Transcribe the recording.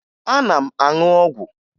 Ana m aṅụ ọgwụ